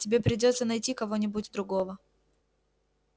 тебе придётся найти кого-нибудь другого